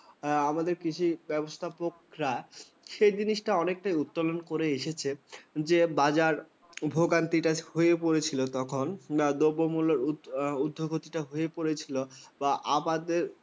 আমাদের কিছু ব্যবস্থাপকরা সে জিনিসটা অনেকটাই উত্তোলন করে এসেছে যে, বাজার ভোগান্তি হয়ে পড়েছিল তখন দ্রব্যমুল্য উর্ধগতি হয়ে পড়েছিল বা আমাদের